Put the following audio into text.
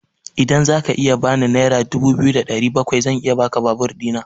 Idan zaka iya bani naira dubu biyu da ɗari bakwai zan iya baka babur ɗina.